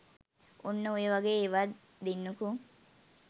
ඔන්න ඔය වගේ ඒවත් දෙන්නකෝ